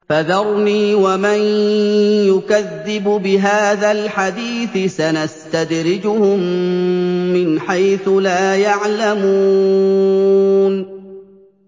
فَذَرْنِي وَمَن يُكَذِّبُ بِهَٰذَا الْحَدِيثِ ۖ سَنَسْتَدْرِجُهُم مِّنْ حَيْثُ لَا يَعْلَمُونَ